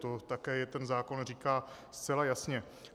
To také ten zákon říká zcela jasně.